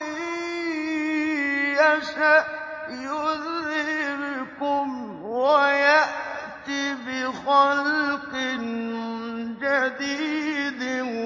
إِن يَشَأْ يُذْهِبْكُمْ وَيَأْتِ بِخَلْقٍ جَدِيدٍ